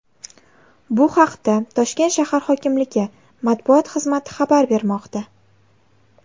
Bu haqda Toshkent shahar hokimligi Matbuot xizmati xabar bermoqda .